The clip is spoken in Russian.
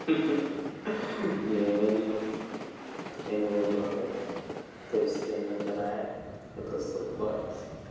ха-ха нет нет я не улыбаюсь то есть я не угораю я просто улыбаюсь